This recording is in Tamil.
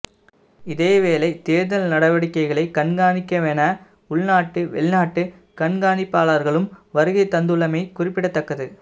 இதேவேளை தேர்தல் நடவடிக்கைகளை கண்காணிக்கவென உள்நாட்டு வெளிநாட்டு கண்காணிப்பாளர்களும் வருகை தந்துள்ளமை குறிப்பிடத்தக்கது